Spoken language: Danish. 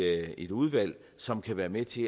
et udvalg som kan være med til